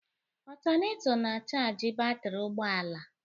Otaneto na-achargi batrị ụgbọ ala